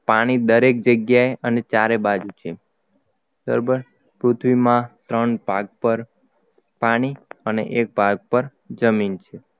પાણી દરેક જગ્યાએ અને ચારે બાજુ છે બરાબર પૃથ્વીમાં ત્રણ ભાગ પર પાણી અને એક ભાગ પર જમીન છે